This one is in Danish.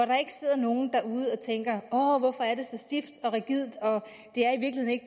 der ikke sidder nogen derude og tænker åh hvorfor er det så stift og rigidt og